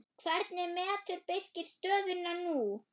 Hvernig metur Birkir stöðuna nú?